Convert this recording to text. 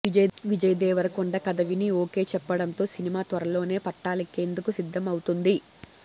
విజయ్ దేవరకొండ కథ విని ఓకే చెప్పడంతో సినిమా త్వరలోనే పట్టాలెక్కేందుకు సిద్దం అవుతుంది